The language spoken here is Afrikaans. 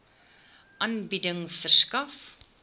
aanbieding verskaf